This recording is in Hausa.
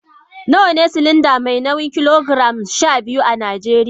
Nawa ne silinda mai nauyin kilogiram 12 a Najeriya?